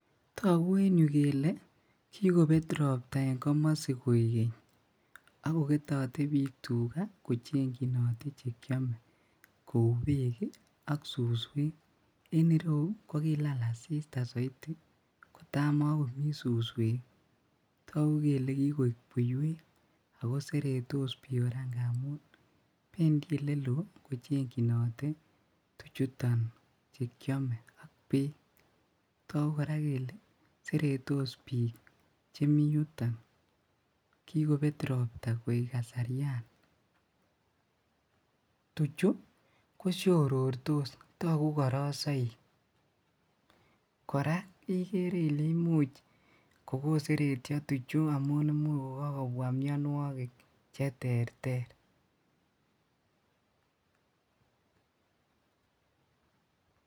Toku en yuu kele kikobet ropta en komosi koik geny ak koketote bik tugaa kochenginote chekiome kou beek ki ak suswek, en ireyuu ko kokilal asista soiti kota mokomii suswek toku kole kikoik buiwek akoseretos bik koraa ngamu pendiii ole loo kochenginote tuchuton chekiome ak beek, toku koraa kele seretos bik chemii yuton kikobet ropta koik kasaria. Tuchuu koshorortos toku korosoik koraa ikere ile imuch kokoseretyo tuchuu amun imuch kokokobwa mionwoki cheterter.